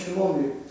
Özümə fikrim olmayıb.